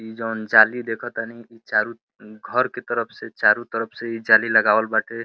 ई जौन जाली देखतानी ई चारु न्-घर के तरफ से चारु तरफ से ई जाली लगावल बाटे।